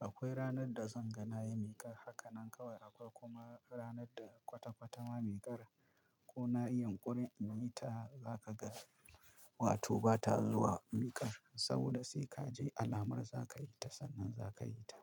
Akwai ranar da zan ga na yi miƙar haka nan kawai akwai kuma ranar da kwata-kwata ma miƙar ko na yi yunƙuri in yi ta za ka ga. Wato ba ta zuwa miƙar saboda sai ka je alamar za ka yi ta sannan za ka yi ta.